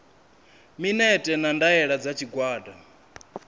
minetse na ndaela dza tshigwada